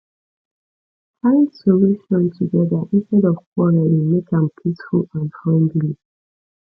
find solution together instead of quarreling make am peaceful and friendly